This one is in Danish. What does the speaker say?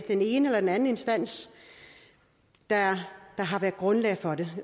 den ene eller den anden instans der har været grundlag for det